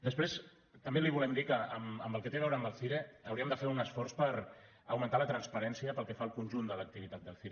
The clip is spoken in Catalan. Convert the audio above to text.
després també li volem dir que en el que té a veure amb el cire hauríem de fer un esforç per augmentar la transparència pel que fa al conjunt de l’activitat del cire